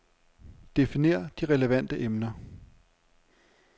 Definer de relevante emner.